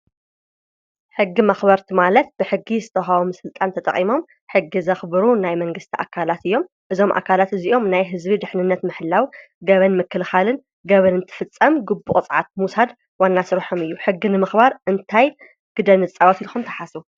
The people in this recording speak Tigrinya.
ሕጊ መክበርቲ ማለት ብሕጊ ዝተዉሃቦም ስልጣን ተጠቂሞምን ሕጊ ዘክብሩ ናይ መንግስቲ ኣካላት እዮም። እዞም ኣካላት እዚኦም ናይ ህዝቢ ድሕንነት ንምሕላዉ ገበን ምክልካልን ገበን እንተፍፀም ግቡእ ቅፅዓት ምዉሳድ ዋና ስርሖም እዩ ሕጊ ንምክባር እንታይ ግደ ንፃወት ኢልኩም ትሓቡም ?